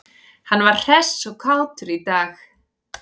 Hann var hress og kátur í dag.